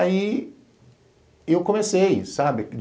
Aí eu comecei, sabe?